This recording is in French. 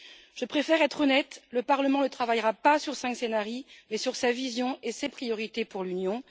Je préfère être honnête, le Parlement ne travaillera pas sur cinq scénarios, mais sur sa vision et ses priorités pour l'Union.